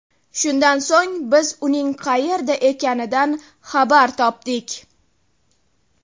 Shundan so‘ng, biz uning qayerda ekanidan xabar topdik.